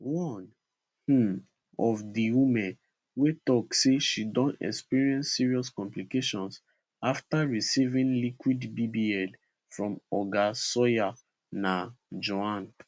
one um of di women wey tok say she don experience serious complications afta receiving liquid bbl from oga sawyer na joanne